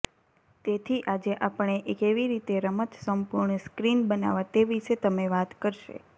તેથી આજે આપણે કેવી રીતે રમત સંપૂર્ણ સ્ક્રીન બનાવવા તે વિશે તમે વાત કરશે